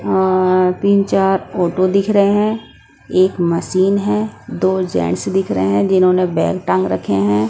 अ तीन चार ऑटो दिख रहे हैं एक मशीन है दो जेंट्स दिख रहे हैं जिन्होंने बैग टांग रखे हैं।